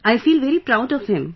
I feel very proud of him